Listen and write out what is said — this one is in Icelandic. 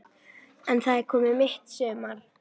En það er komið mitt sumar!